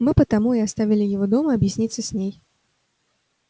мы потому и оставили его дома объясниться с ней